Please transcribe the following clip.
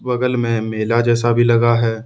बगल में मेला जैसा भी लगा है।